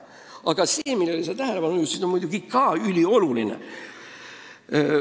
Aga see, millele sa tähelepanu juhtisid, on muidugi ka ülioluline.